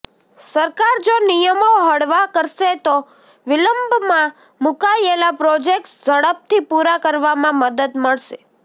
સરકાર જો નિયમો હળવા કરશે તો વિલંબમાં મૂકાયેલા પ્રોજેક્ટ્સ ઝડપથી પૂરા કરવામાં મદદ મળશે